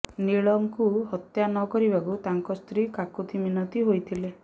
ନୀଳଙ୍କୁ ହତ୍ୟା ନକରିବାକୁ ତାଙ୍କ ସ୍ତ୍ରୀ କାକୁତି ମୀନତି ହୋଇଥିଲେ